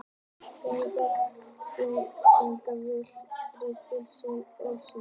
Brýnt er fyrir þeim að þekkja vel réttindi sín og skyldur.